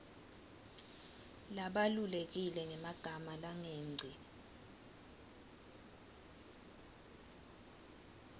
labalulekile ngemagama langengci